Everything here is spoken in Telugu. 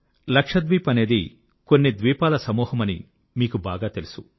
లక్షద్వీప్ అనేది కొన్ని ద్వీపాల సమూహమని మీకు బాగా తెలుసు